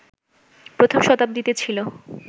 প্রথম শতাব্দীতে ছিল